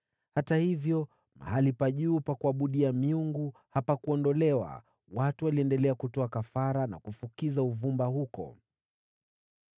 Hata hivyo, mahali pa juu pa kuabudia hapakuondolewa. Watu waliendelea kutoa kafara na kufukiza uvumba huko.